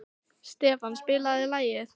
Stefán, spilaðu lag.